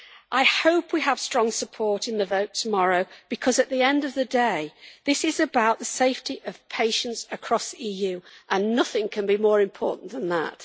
I hope we have strong support in the vote tomorrow, because at the end of the day, this is about the safety of patients across the EU, and nothing can be more important than that.